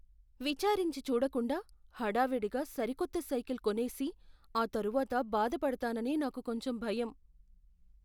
విచారించి చూడకుండా హడావిడిగా సరికొత్త సైకిల్ కొనేసి ఆ తరువాత బాధపడతానని నాకు కొంచెం భయం.